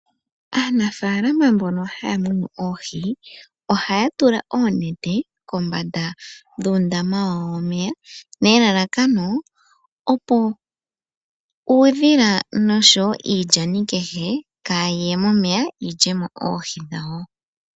Aanafaalama mbono ha ya munu oohi oha ya tula oonete kombanda dhuundama wawo womeya , nelalakano opo uudhila nosho wo iilyani kehe kaa yi ye mo momeya yi lye mo oohi dhawo.